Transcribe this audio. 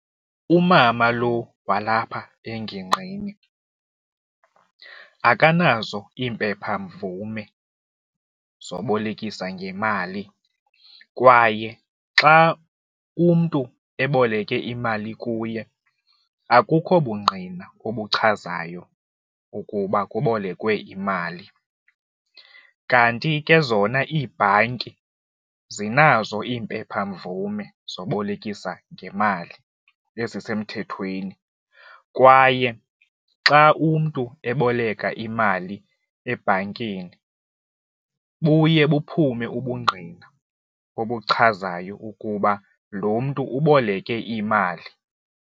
Umama lo walapha engingqini akanazo iimpephamvume zobolekisa ngemali kwaye xa umntu eboleke imali kuye akukho bungqina obuchazayo ukuba ubolekwe imali kanti ke zona ibhanki zinazo iimpephamvume zobolekisa ngemali ezisemthethweni kwaye xa umntu eboleka imali ebhankini buye buphume ubungqina obuchazayo ukuba lo mntu uboleke imali.